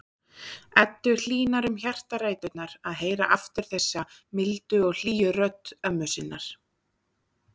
Eddu hlýnar um hjartaræturnar að heyra aftur þessa mildu og hlýju rödd ömmu sinnar.